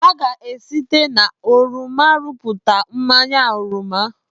A ga-esite na oroma rụpụta mmanya oroma.